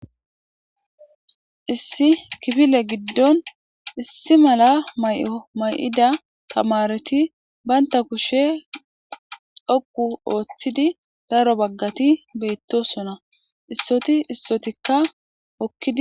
issi kifile giddon issi mala maayo may'ida tamareti baanta kushe xoqqu ooththidi daro baggati beyettosona issoti issotikka hokkidi